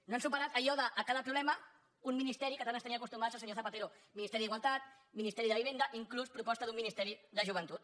no han superat allò de a cada problema un ministeri a què tant ens tenia acostumats el senyor zapatero ministeri d’igualtat ministeri de vivenda inclús proposta d’un ministeri de joventut